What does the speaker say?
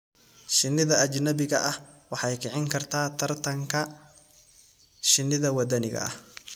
Shinnida ajnabiga ah waxay kicin kartaa tartanka shinnida waddaniga ah.